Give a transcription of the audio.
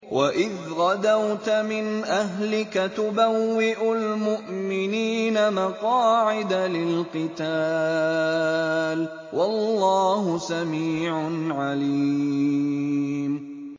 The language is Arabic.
وَإِذْ غَدَوْتَ مِنْ أَهْلِكَ تُبَوِّئُ الْمُؤْمِنِينَ مَقَاعِدَ لِلْقِتَالِ ۗ وَاللَّهُ سَمِيعٌ عَلِيمٌ